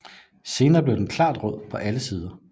Senere bliver den klart rød på alle sider